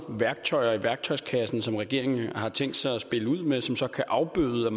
værktøjer i værktøjskassen som regeringen har tænkt sig at spille ud med som så kan afbøde